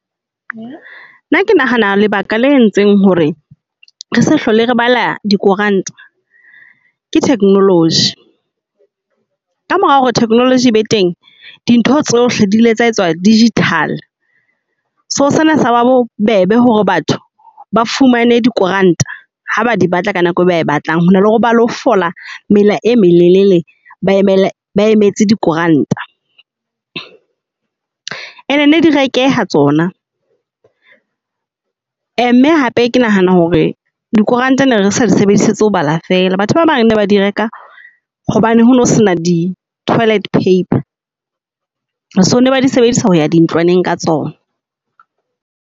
Nna ke nahana lebaka la entseng hore re se hlole re bala di koranta ke technology. Ka mora hore technology e be teng, di ntho tsohle di ile tsa etswa digital. So sena sa ba bo bebe hore batho ba fumane di koranta ha ba di batla ka nako e batlang ho na le hore ba lo fola mela e molelele ba emetse di koranta. And ne di rekeha tsona. Mme hape ke nahana hore di koranta ne re sa di sebedisetsang ho bala fela, batho ba bang bane ba di reka hobane hono sena di toilet paper. So ne ba di sebedisa ho ya dintlwaneng ka tsona.